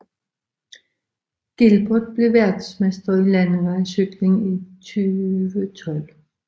Gilbert blev verdensmester i landevejscykling i 2012